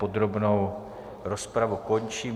Podrobnou rozpravu končím.